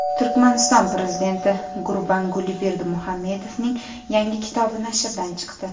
Turkmaniston prezidenti Gurbanguli Berdimuhamedovning yangi kitobi nashrdan chiqdi.